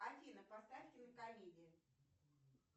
афина поставь кинокомедию